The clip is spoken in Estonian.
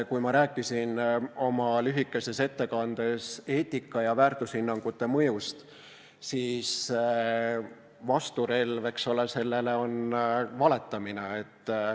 Kui ma rääkisin oma lühikeses ettekandes eetika ja väärtushinnangute mõjust, siis selle vasturelv on valetamine.